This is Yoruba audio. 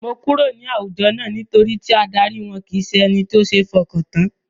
Mo kúrò nínú àwùjọ náà, nítorí tí adarí wọn kìí ṣe ẹni tí ó seé f'ọkàn tán.